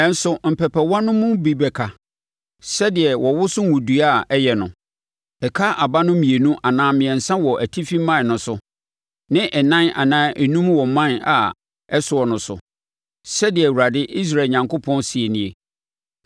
Nanso mpɛpɛwa no mu bi bɛka, sɛdeɛ wɔwoso ngo dua a ɛyɛ no; ɛka aba no mmienu anaa mmiɛnsa wɔ atifi mman no so, ne ɛnan anaa enum wɔ mman a ɛsoɔ no so,” sɛdeɛ Awurade, Israel Onyankopɔn seɛ nie.